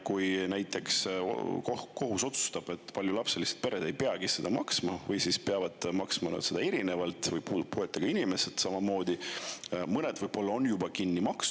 Kui näiteks kohus otsustab, et paljulapselised pered ei peagi seda maksma või, puuetega inimestele samamoodi, siis kuidas riik sellele reageerib?